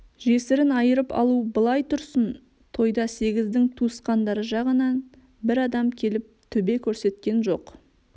жесірін айырып алу былай тұрсын тойда сегіздің туысқандары жағынан бір адам келіп төбе көрсеткен жоқ